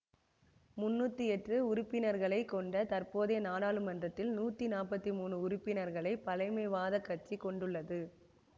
முன்னூற்றி எட்டு உறுப்பினர்களை கொண்ட தற்போதைய நாடாளுமன்றத்தில் நூற்றி நாற்பத்தி மூன்று உறுப்பினர்களைப் பழமைவாத கட்சி கொண்டுள்ளது